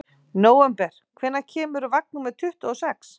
Nóvember, hvenær kemur vagn númer tuttugu og sex?